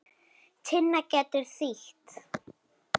Tinna getur þýtt